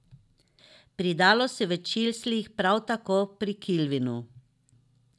Pri Dalu si v čislih, prav tako pri Kilvinu.